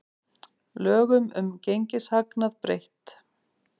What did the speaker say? Lögum um gengishagnað breytt